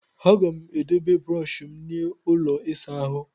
Aga m edobe brọshi m n'ụlọ ịsa ahụ.